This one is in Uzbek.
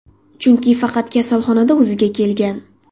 Chunki faqat kasalxonada o‘ziga kelgan.